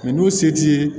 n'u se t'i ye